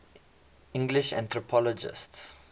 english anthropologists